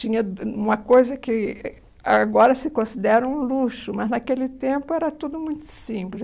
Tinha dua uma coisa que agora se considera um luxo, mas naquele tempo era tudo muito simples.